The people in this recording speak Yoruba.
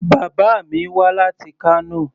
Bàbá mi wá láti Kano.